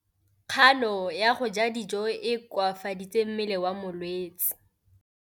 Kganô ya go ja dijo e koafaditse mmele wa molwetse.